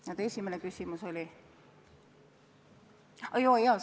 Ja teie esimene küsimus oli?